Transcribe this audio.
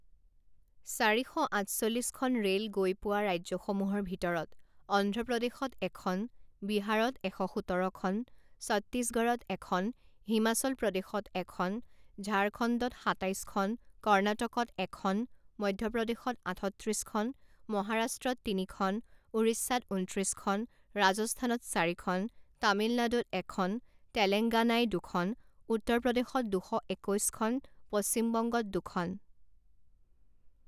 চাৰি শ আঠচল্লিছখন ৰে'ল গৈ পোৱা ৰাজ্যসমূহৰ ভিতৰত অন্ধ্ৰপ্ৰদেশত এখন, বিহাৰত এশ সোতৰখন, চত্তীশগড়ত এখন, হিমাচল প্ৰদেশত এখন, ঝাৰখণ্ডত সাতাইছখন, কৰ্নাটকত এখন, মধ্যপ্ৰদেশত আঠত্ৰিছখন, মহাৰাষ্ট্ৰত তিনিখন, ওড়িশাত ঊনত্ৰিছখন, ৰাজস্থানত চাৰিখন, তামিলনাড়ুত এখন, তেলেংগানায় দুখন, উত্তৰ প্ৰদেশত দুশ একৈছখন, পশ্চিমবংগত দুখন।